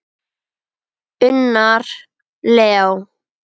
Unnar Leó.